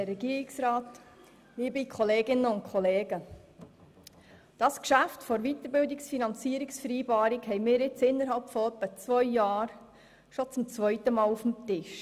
Das Geschäft zur Weiterbildungsfinanzierungs-vereinbarung haben wir nun innerhalb von ungefähr zwei Jahren bereits zum zweiten Mal auf dem Tisch.